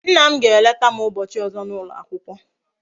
Nna m ga eleta m ubochi ozo na ulo akwukwo